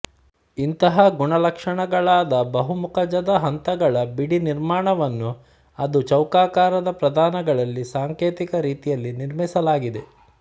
ಇಂತಹ ಗುಣಲಕ್ಷಣಗಳಾದ ಬಹು ಮುಖಜದ ಹಂತಗಳ ಬಿಡಿ ನಿರ್ಮಾಣವನ್ನು ಅದು ಚೌಕಾಕಾರದ ಪ್ರಧಾನಗಳಲ್ಲಿ ಸಾಂಕೇತಿಕ ರೀತಿಯಲ್ಲಿ ನಿರ್ಮಿಸಲಾಗಿದೆ